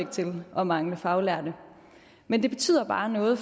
til at mangle faglærte men det betyder bare noget